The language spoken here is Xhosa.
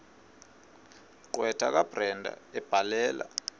gqwetha kabrenda ebhalela